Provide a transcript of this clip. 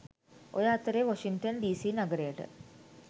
ඔය අතරේ Washington DC නගරයට